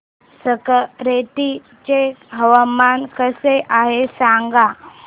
संगारेड्डी चे हवामान कसे आहे सांगा